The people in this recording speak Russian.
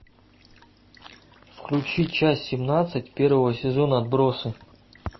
включи часть семнадцать первого сезона отбросы